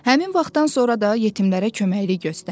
Həmin vaxtdan sonra da yetimlərə köməklik göstərdi.